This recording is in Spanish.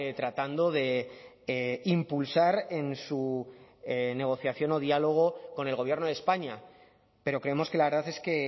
tratando de impulsar en su negociación o diálogo con el gobierno de españa pero creemos que la verdad es que